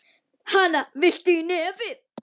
Hana, viltu í nefið?